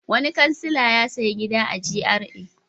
Wani kansila ya sayi gida a GRA.